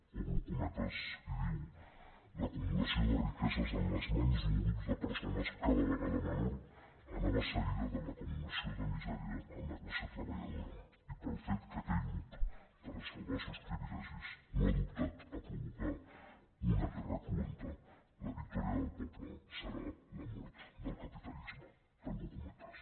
obro co·metes i diu l’acumulació de riqueses en les mans d’un grup de persones cada vegada menor anava segui·da de l’acumulació de misèria en la classe treballadora i pel fet que aquell grup per a salvar els seus privi·legis no ha dubtat a provocar una guerra cruenta la victòria del poble serà la mort del capitalisme tanco cometes